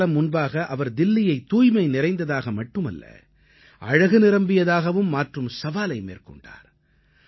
சிலகாலம் முன்பாக அவர் தில்லியைத் தூய்மை நிறைந்ததாக மட்டுமல்ல அழகு நிரம்பியதாகவும் மாற்றும் சவாலை மேற்கொண்டார்